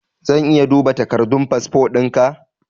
Zan iya duba takardun fasfo ɗinka?